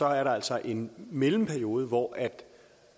er der altså en mellemperiode hvor